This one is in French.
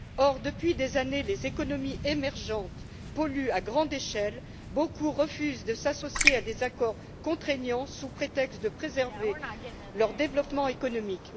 Or, depuis des années, les économies émergentes polluent à grande échelle et bon nombre d'entre elles refusent de s'associer à des accords contraignants, sous prétexte de préserver leur développement économique.